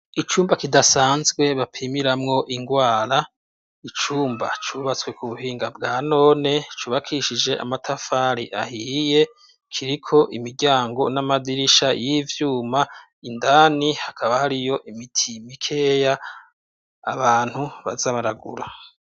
icumba kidasanzwe bapimiramwo ingwara icumba cubatswe ku buhinga bwa none cubakishije amatafari ahiye kiriko imiryango n'amadirisha y'ivyuma indani hakaba hariyo imiti mikeya abantu bazabaragura